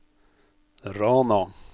Rana